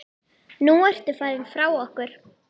Nú ertu farinn frá okkur.